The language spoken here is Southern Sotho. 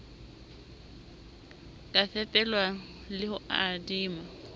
ka fepelwa le ho adima